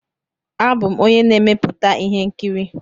Abụ m onye na-emepụta ihe nkiri.